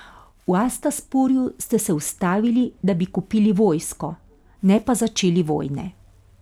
V Astaporju ste se ustavili, da bi kupili vojsko, ne pa začeli vojne.